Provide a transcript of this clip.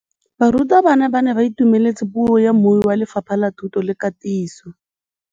Barutabana ba ne ba itumeletse puô ya mmui wa Lefapha la Thuto le Katiso.